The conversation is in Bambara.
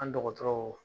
An dɔgɔtɔrɔw